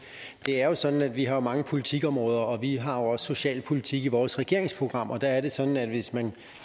er jo sådan at vi har mange politikområder og vi har også socialpolitik i vores regeringsprogram og der er det sådan at hvis man